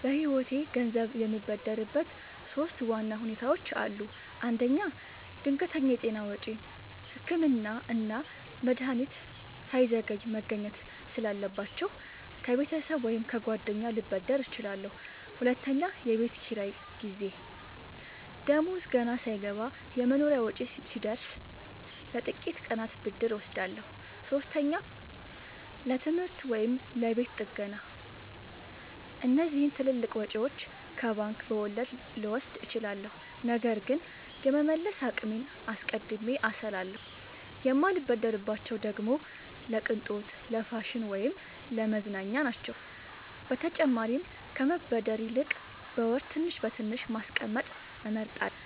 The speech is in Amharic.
በህይወቴ ገንዘብ የምበደርበት ሶስት ዋና ሁኔታዎች አሉ። አንደኛ፣ ድንገተኛ የጤና ወጪ – ህክምና እና መድሀኒት ሳይዘገይ መገኘት ስላለባቸው፣ ከቤተሰብ ወይም ከጓደኛ ልበደር እችላለሁ። ሁለተኛ፣ የቤት ኪራይ ጊዜ – ደሞዝ ገና ሳይገባ የመኖሪያ ወጪ ሲደርስ፣ ለጥቂት ቀናት ብድር እወስዳለሁ። ሶስተኛ፣ ለትምህርት ወይም ለቤት ጥገና – እነዚህን ትልልቅ ወጪዎች ከባንክ በወለድ ልወስድ እችላለሁ፣ ነገር ግን የመመለስ አቅሜን አስቀድሜ አስላለሁ። የማልበደርባቸው ደግሞ ለቅንጦት፣ ለፋሽን ወይም ለመዝናኛ ናቸው። በተጨማሪም ከመበደር ይልቅ በወር ትንሽ በትንሽ ማስቀመጥ እመርጣለሁ።